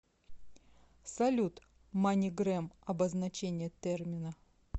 салют манигрэм обозначение термина